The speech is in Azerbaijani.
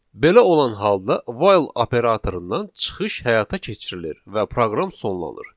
Belə olan halda while operatorundan çıxış həyata keçirilir və proqram sonlanır.